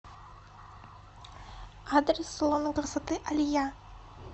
адрес салона красоты алия